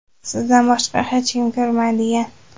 sizdan boshqa hech kim ko‘rmaydigan.